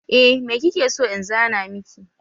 Eh me kike so in zana miki